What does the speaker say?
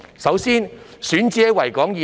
首先，選址是在維港以內。